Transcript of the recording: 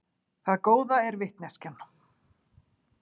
Það góða er vitneskjan.